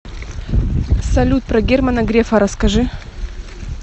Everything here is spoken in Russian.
салют про германа грефа расскажи